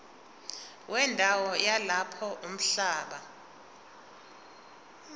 wendawo yalapho umhlaba